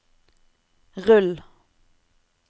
rull